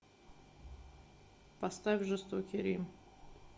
поставь жестокий рим